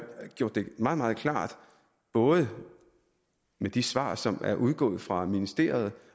gjort det meget meget klart både med de svar som er udgået fra ministeriet